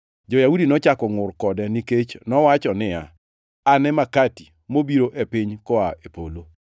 Jo-Yahudi nochako ngʼur kode nikech nowacho niya, “An e makati mobiro e piny koa e polo.”